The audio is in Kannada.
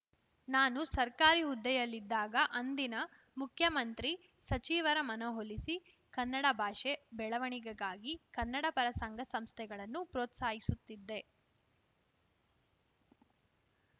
ನಾನು ಸರ್ಕಾರಿ ಹುದ್ದೆಯಲ್ಲಿದ್ದಾಗ ಅಂದಿನ ಮುಖ್ಯಮಂತ್ರಿ ಸಚಿವರ ಮನವೊಲಿಸಿ ಕನ್ನಡ ಭಾಷೆ ಬೆಳವಣಿಗೆಗಾಗಿ ಕನ್ನಡಪರ ಸಂಘ ಸಂಸ್ಥೆಗಳನ್ನು ಪ್ರೋತ್ಸಾಹಿಸುತ್ತಿದ್ದೆ